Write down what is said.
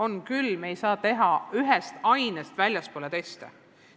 On küll, me ei saa teha ühest ainest väljapoole ulatuvaid teste.